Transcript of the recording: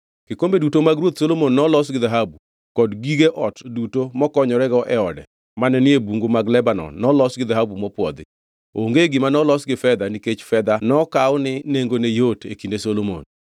Kikombe duto mag Ruoth Solomon nolos gi dhahabu, kod gige ot duto mokonyorego e ode mane ni e Bungu mag Lebanon nolos gi dhahabu mopwodhi. Onge gima nolos gi fedha nikech fedha nokaw ni nengone yot e kinde Solomon.